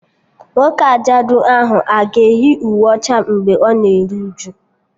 Nwoke ajadu ahụ a ga-eyi uwe ọcha mgbe ọ na-eru uju?